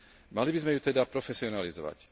Mali by sme ju teda profesionalizovať.